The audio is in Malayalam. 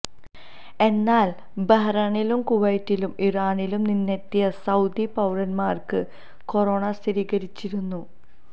എന്നാല് ബഹ്റൈനിലും കുവൈത്തിലും ഇറാനില് നിന്നെത്തിയ സൌദി പൌരന്മാര്ക്ക് കൊറോണ സ്ഥിരീകരിച്ചിരുന്നു